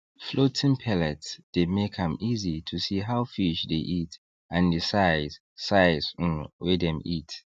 floating pellets dey make am easy to see how fish dey eat and the size size um wey dem eat